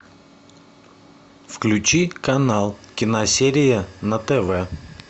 включи канал киносерия на тв